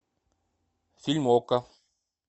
фильм окко